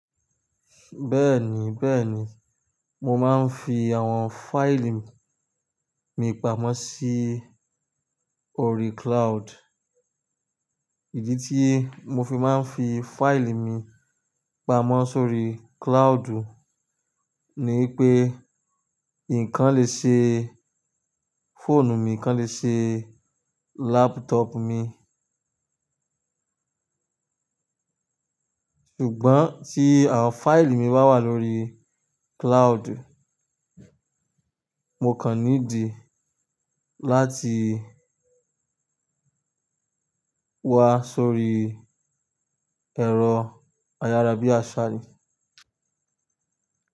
Bẹ́ẹ̀ni bẹ́ẹ̀ni, mo máa ń fi àwọn fáìlì mi pamọ́ sí orí cloud. Ìdí tí mo fi máa ń fi fáìlì mi pamọ́ sórí cloud ni wipé, nkan lè ṣe fóònù mi, nkan lè ṣe laptop mi. Ṣùgbọ́n tí àwọn fáìlì mi bá wà lórí cloud, mo kàn nídi láti wá sórí ẹ̀rọ ayárabíàṣá ni.